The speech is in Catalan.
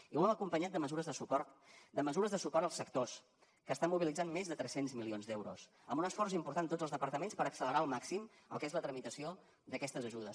i ho hem acompanyat de mesures de suport de mesures de suport als sectors que estan mobilitzant més de tres cents milions d’euros amb un esforç important de tots els departaments per accelerar al màxim el que és la tramitació d’aquestes ajudes